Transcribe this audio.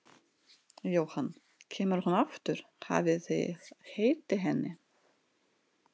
Jóhann: Kemur hún aftur, hafið þið heyrt í henni?